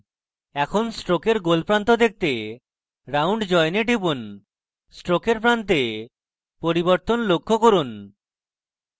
এখন stroke গোল প্রান্ত দেখতে round join a টিপুন stroke প্রান্তে পরিবর্তন লক্ষ্য করুন